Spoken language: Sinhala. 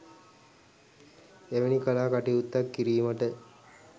එවැනි කලා කටයුත්තක් කිරීමට